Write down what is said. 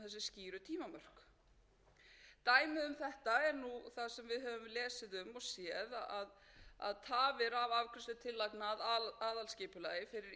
nú það sem við höfum lesið um og séð að tafir af afgreiðslu tillagna af aðalskipulagi fyrir ýmis